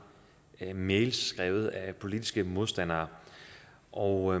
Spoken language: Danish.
mails skrevet af politiske modstandere og